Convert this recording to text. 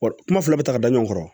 Wa kuma fila bɛ taga ɲɔgɔn kɔrɔ